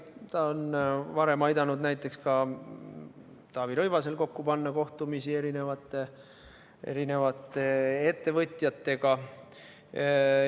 Ta on varem aidanud näiteks ka Taavi Rõivasel korraldada kohtumisi erinevate ettevõtjatega.